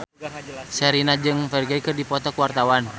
Sherina jeung Ferdge keur dipoto ku wartawan